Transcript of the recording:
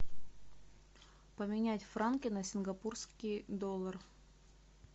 поменять франки на сингапурский доллар